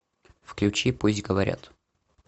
включи пусть говорят